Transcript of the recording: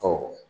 Ɔ